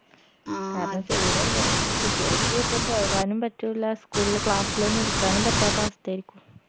ചൂടല്ലേ കുട്ടികൾക്കു ഒക്കെ പോകാനും പറ്റൂല school ല് class ലൊന്നു ഇരിക്കാനും പറ്റാത്ത അവസ്ഥയായിരിക്കും